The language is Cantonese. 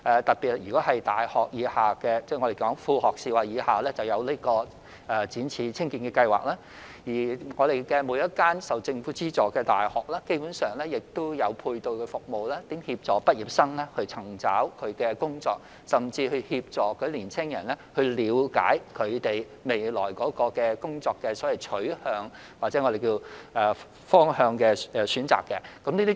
特別是在大學以下，即我們所說的副學士及以下，我們設有展翅青見計劃，而每間政府資助的大學基本上亦設有配對服務，協助畢業生尋找工作，甚至協助年輕人了解他們未來的工作取向及選擇方向。